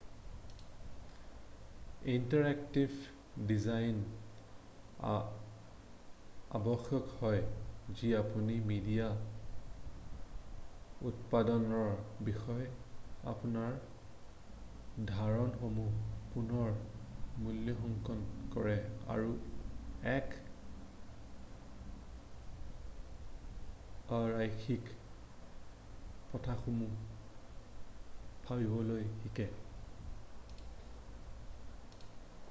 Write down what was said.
interactive ডিজাইনৰ আৱশ্যক হয় যি আপুনি মিডিয়া উৎপাদনৰ বিষয়ে আপোনাৰ ধাৰণাসমূহৰ পুনৰ মূল্যাংকণ কৰে আৰু এক অ-ৰৈখিক পথসমূহত ভাবিবলৈ শিকে৷